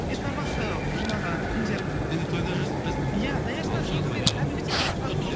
бешбармақты жаңағы кімдер иә даяшылар негізі кәдімгідей алып шығады ғой